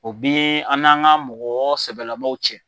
O bi an'an ka mɔgɔ sɛbɛlamaw cɛ.